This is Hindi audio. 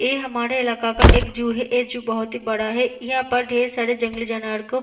ये हमारे इलाका का एक ज़ू है ऐ ज़ू बहुत ही बड़ा है यहाँ पर ढेर सारे जंगली जानवर को --